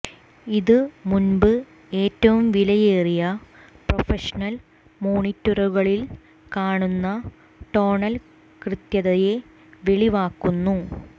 ഇത് മുൻപ് ഏറ്റവും വിലയേറിയ പ്രൊഫഷണൽ മോണിറ്ററുകളിൽ കാണുന്ന ടോണൽ കൃത്യതയെ വെളിവാക്കുന്നു